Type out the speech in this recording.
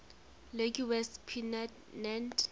league west pennant